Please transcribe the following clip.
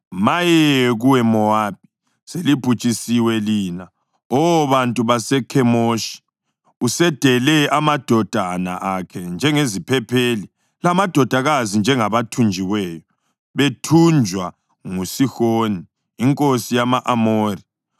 Maye kuwe, Mowabi! Selibhujisiwe lina, Oh bantu baseKhemoshi! Usedele amadodana akhe njengeziphepheli lamadodakazi njengabathunjiweyo bethunjwa nguSihoni inkosi yama-Amori.